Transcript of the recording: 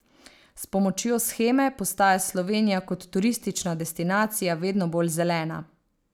S pomočjo sheme postaja Slovenija kot turistična destinacija vedno bolj zelena.